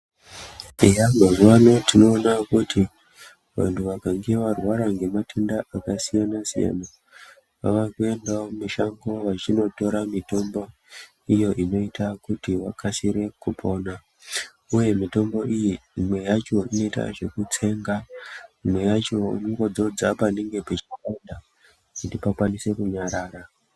Eya mazuwano tinoona kuti vantu vakange varwara ngematenda akasiyana-siyana vavakuendawo mushango vachinotora mitombo iyo inoita kuti vakasire kupona uye mitombo iyi imwe yacho inoita zvekutsenga imwe yacho unongodzodza panenge pachipanda kuti pakwanise kunyarara.